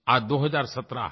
आज 2017 है